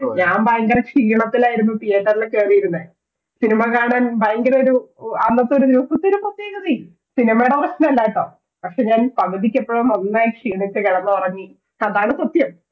ഞാൻ ഭയങ്കര ഷീണത്തിലായിരുന്നു theater ൽ കേറിയിരുന്നെ cinema കാണാൻ ഭയങ്കര ഒരു അന്നത്തെ ഒരു ദിവസത്തിന്റെ പ്രത്യേകതയും cinema യുടെ പ്രശ്നമല്ലാട്ടോ പക്ഷെ ഞാൻ പകുതിക്കെപ്പോഴോ നന്നായി ക്ഷീണത്തിൽ കിടന്നുറങ്ങി അതാണ് സത്യം